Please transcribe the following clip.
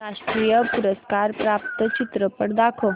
राष्ट्रीय पुरस्कार प्राप्त चित्रपट दाखव